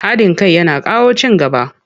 Haɗin kai yana kawo ci gaba.